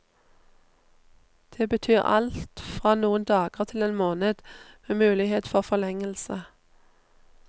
Det betyr alt fra noen dager til en måned, med mulighet for forlengelse.